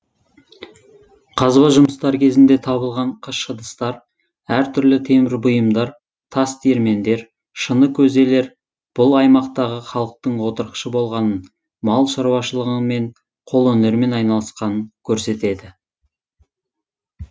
қазба жұмыстары кезінде табылған қыш ыдыстар әр түрлі темір бұйымдар тас диірмендер шыны көзелер бұл аймақтағы халықтың отырықшы болғанын мал шаруашылыңымен қолөнермен айналысқанын көрсетеді